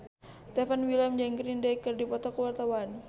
Stefan William jeung Green Day keur dipoto ku wartawan